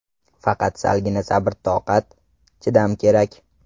Faqat salgina sabr-toqat, chidam kerak.